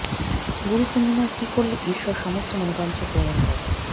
গুরু পূর্ণিমায় কী করলে ঈশ্বর সমস্ত মনোবাঞ্ছা পূরণ করেন